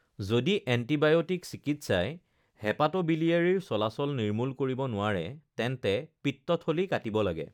যদি এন্টিবায়টিক চিকিৎসাই হেপাটোবিলিয়াৰীৰ চলাচল নিৰ্মূল কৰিব নোৱাৰে তেন্তে পিত্তথলী কাটিব লাগে৷